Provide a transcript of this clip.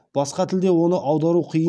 басқа тілде оны аудару қиын